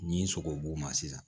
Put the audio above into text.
Ni n sogo b'o ma sisan